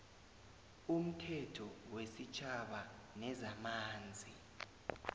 umthetho wesitjhaba wezamanzi